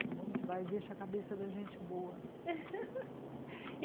É bom demais, deixa a cabeça da gente boa e